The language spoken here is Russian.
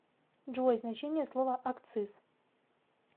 джой значение слова акциз